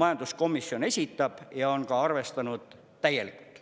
majanduskomisjon esitab ja on ka arvestanud täielikult.